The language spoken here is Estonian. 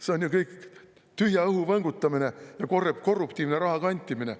See on ju kõik tühja õhu võngutamine ja korruptiivne raha kantimine.